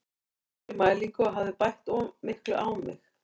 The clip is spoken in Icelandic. Ég fór í mælingu og hafði bætt of miklu á mig.